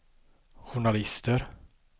journalister